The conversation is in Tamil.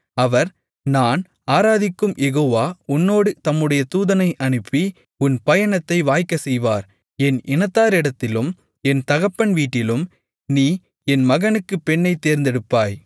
அவர் நான் ஆராதிக்கும் யெகோவா உன்னோடு தம்முடைய தூதனை அனுப்பி உன் பயணத்தை வாய்க்கச் செய்வார் என் இனத்தாரிடத்திலும் என் தகப்பன் வீட்டிலும் நீ என் மகனுக்குப் பெண்ணைத் தேர்ந்தெடுப்பாய்